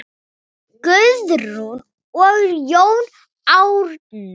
Guðrún og Jón Árni.